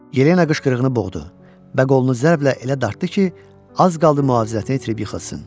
Yelena qışqırığını boğdu və qolunu zərblə elə dartdı ki, az qaldı müvazinətini itirib yıxılsın.